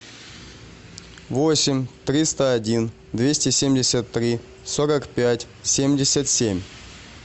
восемь триста один двести семьдесят три сорок пять семьдесят семь